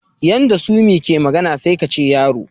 Yanda Sumi ke magana sai kace yaro.